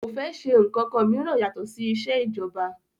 Kò fẹ́ ṣe ǹkankan mìíràn yàtọ̀ sí isẹ́ ìjọba